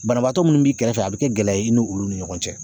Banabaatɔ minnu b'i kɛrɛfɛ a bɛ kɛ gɛlɛya i ni olu ni ɲɔgɔn cɛ.